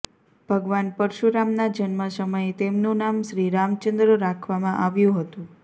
ભગવાન પરશુરામના જન્મ સમયે તેમનું નામ શ્રી રામચંદ્ર રાખવામાં આવ્યું હતું